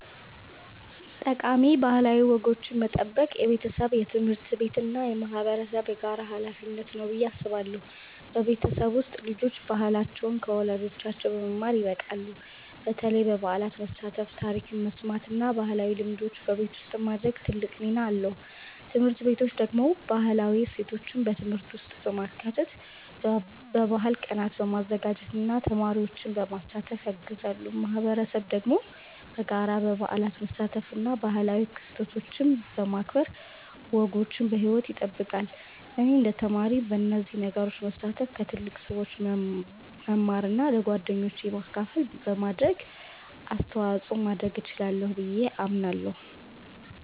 ጠቃሚ ባህላዊ ወጎችን መጠበቅ የቤተሰብ፣ የትምህርት ቤት እና የማህበረሰብ የጋራ ሀላፊነት ነው ብዬ አስባለሁ። በቤተሰብ ውስጥ ልጆች ባህላቸውን ከወላጆቻቸው በመማር ይበቃሉ፣ በተለይ በበዓላት መሳተፍ፣ ታሪክ መስማት እና ባህላዊ ልምዶችን በቤት ውስጥ ማድረግ ትልቅ ሚና አለው። ትምህርት ቤቶች ደግሞ ባህላዊ እሴቶችን በትምህርት ውስጥ በማካተት፣ በባህል ቀናት በማዘጋጀት እና ተማሪዎችን በማሳተፍ ያግዛሉ። ማህበረሰብ ደግሞ በጋራ በበዓላት መሳተፍ እና ባህላዊ ክስተቶችን በማክበር ወጎችን በሕይወት ይጠብቃል። እኔ እንደ ተማሪ በእነዚህ ነገሮች መሳተፍ፣ ከትልቅ ሰዎች መማር እና ለጓደኞቼ ማካፈል በማድረግ አስተዋጽኦ ማድረግ እችላለሁ ብዬ አምናለሁ።